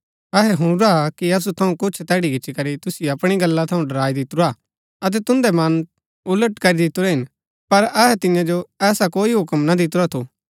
अहै हुणुरा कि असु थऊँ कुछ तैड़ी गिचीकरी तुसिओ अपणी गल्ला थऊँ डराई दितुरा अतै तुन्दै मन उलट करी दितुरै हिन पर अहै तियां जो ऐसा कोई हूक्म ना दितुरा थु